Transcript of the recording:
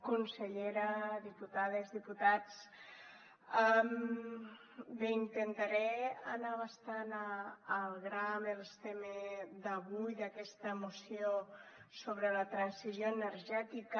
consellera diputades diputats bé intentaré anar bastant al gra amb el tema d’avui d’aquesta moció sobre la transició energètica